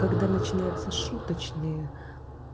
когда начинается шуточные